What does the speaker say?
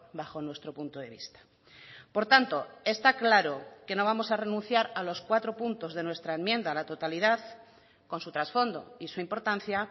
bajo nuestro punto de vista por tanto está claro que no vamos a renunciar a los cuatro puntos de nuestra enmienda a la totalidad con su trasfondo y su importancia